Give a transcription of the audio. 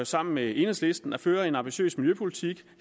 sammen med enhedslisten at føre en ambitiøs miljøpolitik